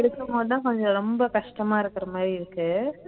இருக்கும்போதுதான் கொஞ்சம் ரொம்ப கஷ்டமா இருக்குற மாதிரி இருக்கு